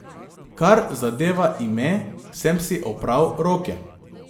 Kar zadeva ime, sem si opral roke.